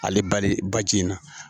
Ale bali ba ji in na